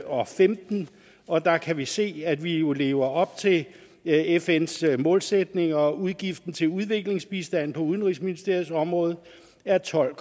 og femten og der kan vi se at vi jo lever op til fns målsætning og udgiften til udviklingsbistand på udenrigsministeriets område er tolv